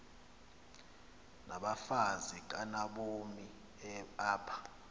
nabafazi kanobomi apha